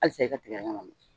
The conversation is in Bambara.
Hali sa i ka tigɛdɛgɛ man